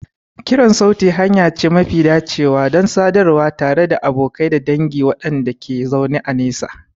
Kiran sauti hanya ce mafi dacewa don sadarwa tare da abokai da dangi waɗanda ke zaune a nesa.